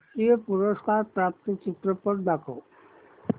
राष्ट्रीय पुरस्कार प्राप्त चित्रपट दाखव